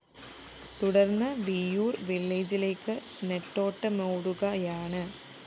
തുടര്‍ന്ന് വിയ്യൂര്‍ വില്ലേജിലേക്ക് നെട്ടോട്ടമോടുകയാണ്